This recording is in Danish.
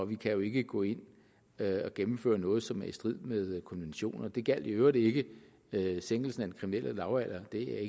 vi kan ikke gå ind og gennemføre noget som er i strid med konventioner det gjaldt i øvrigt ikke sænkelsen af den kriminelle lavalder det er